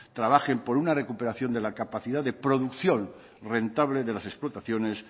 trabajen por una recuperación de la capacidad de producción rentable de las explotaciones